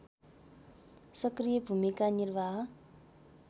सक्रिय भूमिका निर्वाह